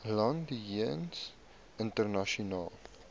land jeens internasionale